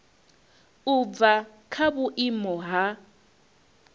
u bva kha vhuimo ha